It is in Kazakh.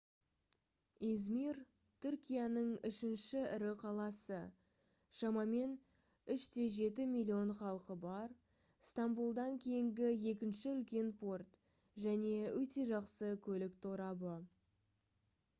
измир түркияның үшінші ірі қаласы шамамен 3,7 миллион халқы бар стамбулдан кейінгі екінші үлкен порт және өте жақсы көлік торабы